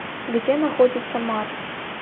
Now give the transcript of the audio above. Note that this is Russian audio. где находится марс